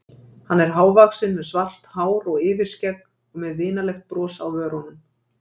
Hann er hávaxinn með svart hár og yfirskegg og með vinalegt bros á vörunum.